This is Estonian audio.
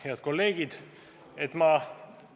Head kolleegid!